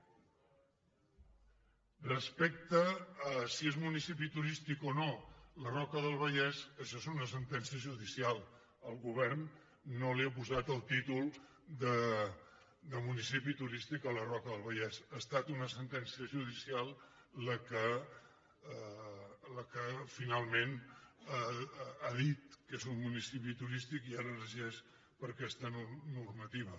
respecte a si és municipi turístic o no la roca del vallès això és una sentència judicial el govern no li ha posat el títol de municipi turístic a la roca del va·llés ha estat una sentència judicial la que finalment ha dit que és un municipi turístic i ara es regeix per aquesta normativa